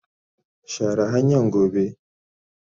share hanyan gobe.